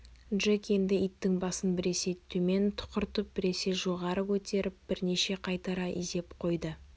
джек енді иттің басын біресе төмен тұқыртып біресе жоғары көтеріп бірнеше қайтара изеп қойды